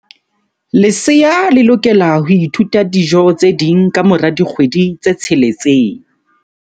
Lesea le lokela ho ithuta dijo tse ding ka mora dikgwedi tse tsheletseng.